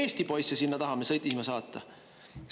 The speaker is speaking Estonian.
Miks me Eesti poisse sinna tahame sõdima saata?